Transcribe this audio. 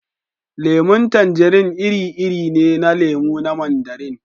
Lemun tanjirin iri-iri ne na lemu na Mandarin